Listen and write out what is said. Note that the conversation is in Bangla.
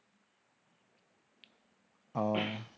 ও